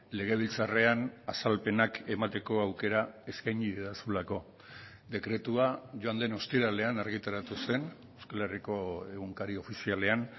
legebiltzarrean azalpenak emateko aukera eskaini didazulako dekretua joan den ostiralean argitaratu zen euskal herriko egunkari ofizialean